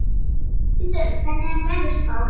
Borghildur, hvernig er veðurspáin?